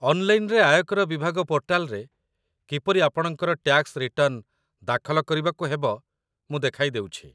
ଅନ୍‌ଲାଇନ୍‌ରେ ଆୟକର ବିଭାଗ ପୋର୍ଟାଲରେ କିପରି ଆପଣଙ୍କର ଟ୍ୟାକ୍ସ ରିଟର୍ଣ୍ଣ ଦାଖଲ କରିବାକୁ ହେବ, ମୁଁ ଦେଖାଇ ଦେଉଛି